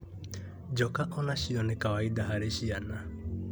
Njoka o nacio nĩ kawaida harĩ ciana